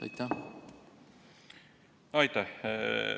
Aitäh!